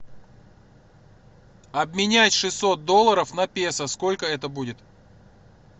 обменять шестьсот долларов на песо сколько это будет